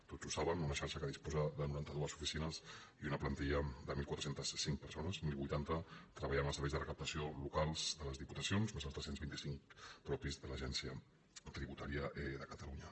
tots ho saben una xarxa que disposa de noranta dos oficines i una plantilla de catorze zero cinc persones deu vuitanta treballen als serveis de recaptació locals de les diputacions més els tres cents i vint cinc propis de l’agència tributària de catalunya